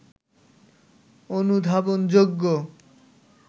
অনুধাবনযোগ্য